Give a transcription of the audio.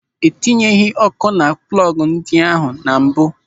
E tinyeghị ọ́kụ́ na plọgụ ndị ahụ na mbụ.